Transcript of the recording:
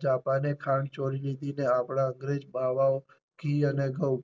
જાપાને ખાંડ ચોરી લીધી અને આપડા અંગ્રેજ ઘી અને ઘઉં